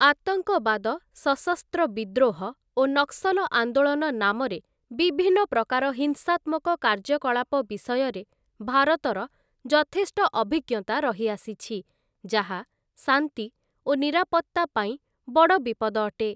ଆତଙ୍କବାଦ ସଶସ୍ତ୍ର ବିଦ୍ରୋହ ଓ ନକ୍ସଲ ଆନ୍ଦୋଳନ ନାମରେ ବିଭିନ୍ନ ପ୍ରକାର ହିଂସାତ୍ମକ କାର୍ଯ୍ୟକଳାପ ବିଷୟରେ ଭାରତର ଯଥେଷ୍ଟଅଭିଜ୍ଞତା ରହିଆସିଛି ଯାହା ଶାନ୍ତି ଓ ନିରାପତ୍ତା ପାଇଁ ବଡ଼ ବିପଦ ଅଟେ ।